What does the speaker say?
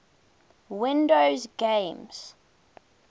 windows games